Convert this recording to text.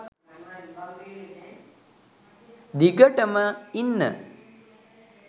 දිගටම ඉන්න.